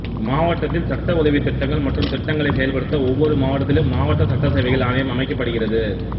மாவட்டத்தில் சட்ட உதவி திட்டங்கள் மற்றும் திட்டங்களை செயல்படுத்த ஒவ்வொரு மாவட்டத்திலும் மாவட்ட சட்ட சேவைகள் ஆணையம் அமைக்கப்படுகிறது